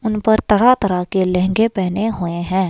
उन पर तरह-तरह के लहंगे पहने हुए हैं।